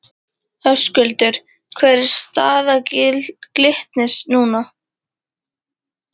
Höskuldur: Hver er staða Glitnis núna?